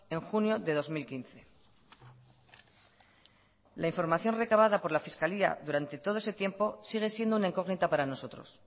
en junio de dos mil quince la información recabada por la fiscalía durante todo ese tiempo sigue siendo una incógnita para nosotros